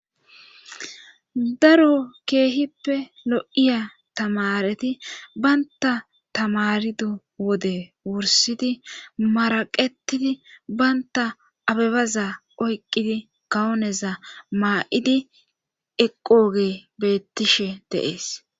daro keehippe lo7iya tamareti baynta tamarido wode wursidi maraqetidi baynta abebaza oyqqidi kawoneza maa7idi eqqoge beettishe deees